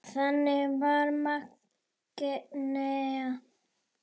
Þannig var Magnea.